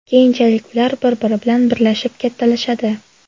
Keyinchalik ular bir-biri bilan birlashib kattalashadi.